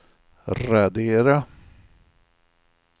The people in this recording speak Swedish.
radera